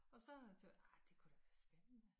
Og så tænkte jeg ej det kunne da være spændende